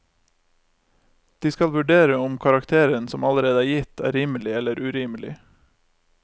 De skal vurdere om karakteren som allerede er gitt, er rimelig eller urimelig.